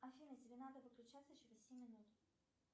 афина тебе надо выключаться через семь минут